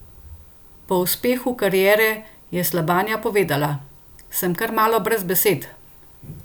Po uspehu kariere je Slabanja povedala: "Sem kar malo brez besed.